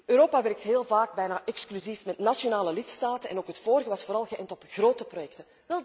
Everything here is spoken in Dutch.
Europa werkt heel vaak bijna exclusief met nationale lidstaten, en ook het vorige was vooral geënt op grote projecten.